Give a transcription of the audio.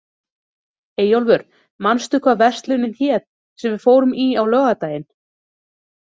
Eyjólfur, manstu hvað verslunin hét sem við fórum í á laugardaginn?